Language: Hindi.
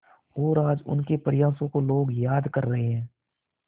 और आज उनके प्रयासों को लोग याद कर रहे हैं